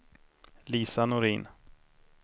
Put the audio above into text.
Lisa Norin